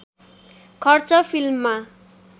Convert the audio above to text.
खर्च फिल्ममा